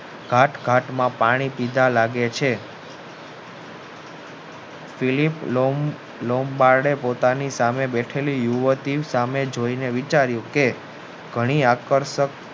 ઘાટ ઘટના પાણી પીધા લાગે છે પેલી લંબાદે પોતાની સામે બેઠેલી યુવતી સામે જોઈને વિચાર્યું કે ઘણી આકર્ષક